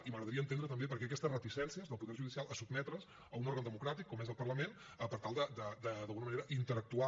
i m’agradaria entendre també per què aquestes reticències del poder judicial a sotmetre’s a un òrgan democràtic com és el parlament per tal de d’alguna manera interactuar